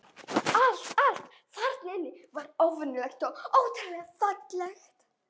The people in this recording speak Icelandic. Allt, allt þarna inni var óvenjulegt og ótrúlega fallegt.